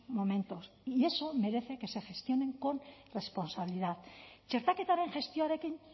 momentos y eso merece que se gestionen con responsabilidad txertaketaren gestioarekin